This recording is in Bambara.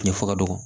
Ne fa ka dɔgɔ